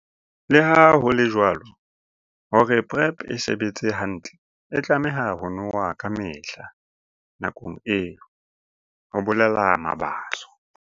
Leha ho le jwalo, hore PrEP e sebetse hantle, e tlameha ho nowa kamehla nakong eo, ho bolela Mabaso.